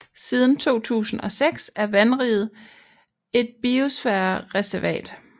Siden 2006 er vandriget et biosfærereservat